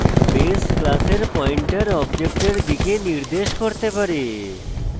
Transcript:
base class pointer অবজেক্টের দিকে নির্দেশ করতে পারে